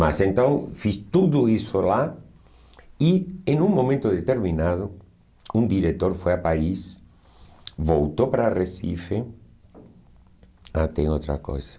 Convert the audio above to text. Mas então, fiz tudo isso lá, e em um momento determinado, um diretor foi a Paris, voltou para Recife... Ah, tem outra coisa.